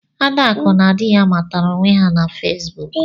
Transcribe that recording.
Adaku na dị ya matara onwe her na Fesbụụk.